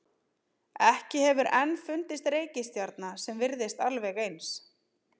Ekki hefur enn fundist reikistjarna sem virðist alveg eins.